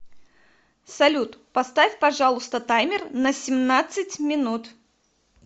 салют поставь пожалуйста таймер на семнадцать минут